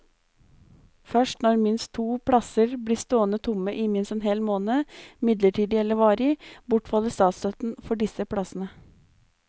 Først når minst to plasser blir stående tomme i minst en hel måned, midlertidig eller varig, bortfaller statsstøtten for disse plassene.